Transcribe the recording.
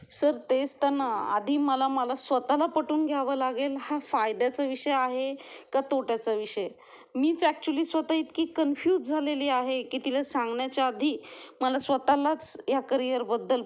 Sir तेच तर ना आधी मला मला स्वतः ला पटवून द्यावं लागेल हा फायद्याचा विषय आहे का तोट्याचा विषय. मीच एक्च्युली स्वतः इतकी कन्फ्यूज झालेली आहे कि तिला सांगण्याच्या आधी मला स्वतःलाच ह्या करिअर बद्दल